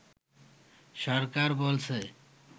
সরকার বলছে